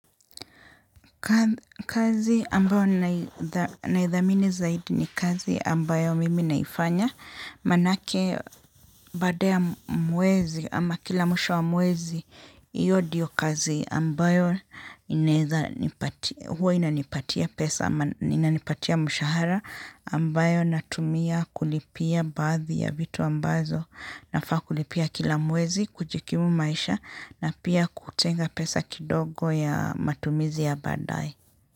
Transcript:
Kazi ambayo naithamini zaidi ni kazi ambayo mimi naifanya maanake baada mwezi ama kila mwisho wa mwezi hiyo ndiyo kazi ambayo huwa inanipatia pesa ama inanipatia mshahara ambayo natumia kulipia baadhi ya vitu ambazo na faa kulipia kila mwezi kujikimu maisha na pia kutenga pesa kidogo ya matumizi ya baadaye.